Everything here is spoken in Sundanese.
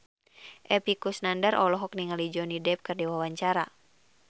Epy Kusnandar olohok ningali Johnny Depp keur diwawancara